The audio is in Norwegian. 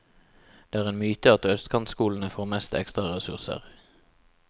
Det er en myte at østkantskolene får mest ekstraressurser.